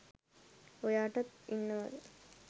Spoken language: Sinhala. ඔයාටත් ඉන්නවද